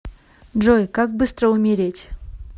джой как быстро умереть